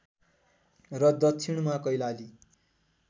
र दक्षिणमा कैलाली